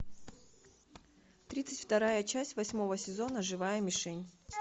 тридцать вторая часть восьмого сезона живая мишень